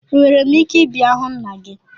Enwere m ike ịbịa hụ nna gị?